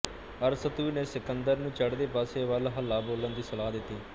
ਅਰਸਤੂ ਨੇ ਸਿਕੰਦਰ ਨੂੰ ਚੜ੍ਹਦੇ ਪਾਸੇ ਵੱਲ ਹੱਲਾ ਬੋਲਣ ਦੀ ਸਲਾਹ ਦਿੱਤੀ